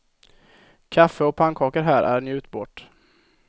Kaffe och pannkakor här är njutbart.